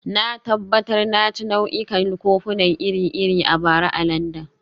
Na tabbatar na ci nau'ikan kofuna iri-iri a bara a Landan